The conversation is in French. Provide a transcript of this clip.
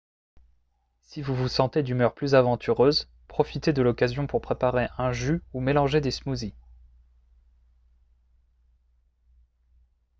si vous vous sentez d'humeur plus aventureuse profitez de l'occasion pour préparer un jus ou mélanger des smoothies